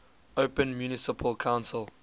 open municipal council